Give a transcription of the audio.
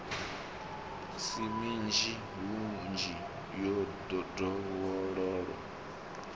si minzhi hunzhi yo dovhololwa